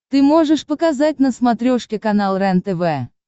ты можешь показать на смотрешке канал рентв